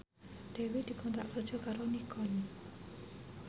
Dewi dikontrak kerja karo Nikon